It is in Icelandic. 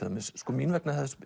mín vegna